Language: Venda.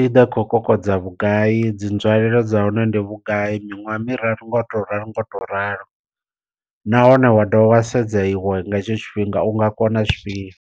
i ḓovha khou kokodza vhugai, dzi nzwalelo dza hone ndi vhugai, miṅwaha miraru nga u to ralo nga u to ralo nahone wa dovha wa sedza iwe nga hetsho tshifhinga u nga kona zwifhio.